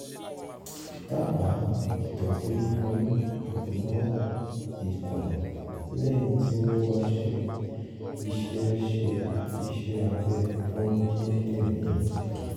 dábàá ìtọ́jú fún ìgbóná ikùn lẹ́yìn tí wọ́n bá ṣe iṣẹ́ ṣe iṣẹ́ abẹ fún kíndìnrín